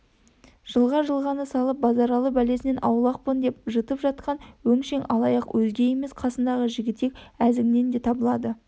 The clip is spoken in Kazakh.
жылға-жылғаны сағалап базаралы бәлесінен аулақпын деп жытып жатқан өңшең алаяқ өзге емес қасындағы жігітек әзіңнен де табылады